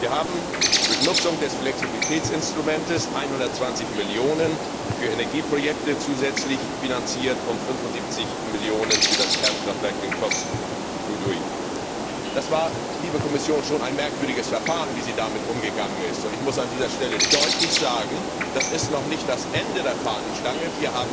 Wir haben durch Nutzung des Flexibilitätsinstruments 120 Millionen zusätzlich für Energieprojekte finanziert und 75 Millionen für das Kernkraftwerk in Kosloduj. Das war, liebe Kommission, schon ein merkwürdiges Verfahren, wie Sie damit umgegangen sind, und ich muss an dieser Stelle deutlich sagen, dass das noch nicht das Ende der Fahnenstange ist.